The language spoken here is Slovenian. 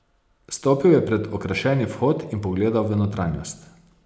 Stopil je pred okrašeni vhod in pogledal v notranjost.